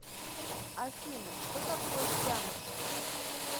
афина что такое пяндж